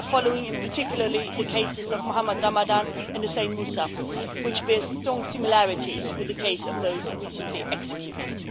We are following, in particular, the cases of Mohammed Ramadan and Hussein Moussa, which bear strong similarities with the case of those recently executed.